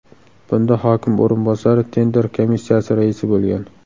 Bunda hokim o‘rinbosari tender komissiyasi raisi bo‘lgan.